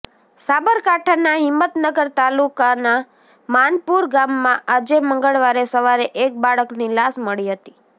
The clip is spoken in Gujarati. સાબરકાંઠના હિમતનગર તાલુકના માનપુર ગામમાં આજે મંગળવારે સવારે એક બાળકની લાશ મળી હતી